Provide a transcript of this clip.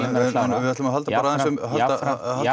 en við ætlum að halda